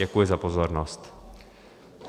Děkuji za pozornost.